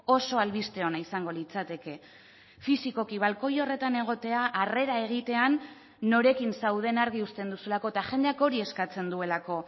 oso albiste ona izango litzateke fisikoki balkoi horretan egotea harrera egitean norekin zauden argi uzten duzulako eta jendeak hori eskatzen duelako